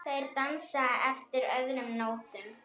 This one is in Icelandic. Þeir dansa eftir öðrum nótum.